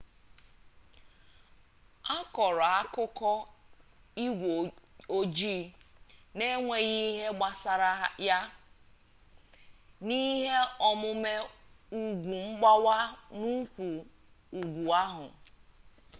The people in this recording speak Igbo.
akọrọ akụkọ igwe ojii n'enweghị ihe gbasara ha n'ihe omume ugwu mgbawa n'ụkwụ ugwu ahụ